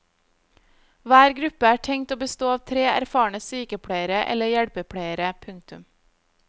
Hver gruppe er tenkt å bestå av tre erfarne sykepleiere eller hjelpepleiere. punktum